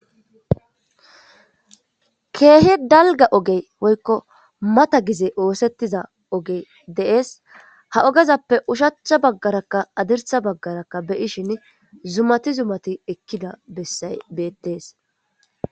keehi dalga ogey woykko mata gize oosettiza ogey dees ha ogezappe ushacha baggarakka hadirsa baggarakka beyishin zumati zumati ekkida bessay beettees